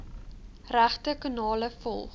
regte kanale volg